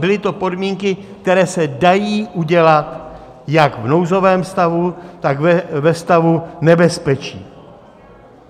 Byly to podmínky, které se dají udělat jak v nouzovém stavu, tak ve stavu nebezpečí.